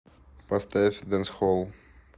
поставь дэнсхолл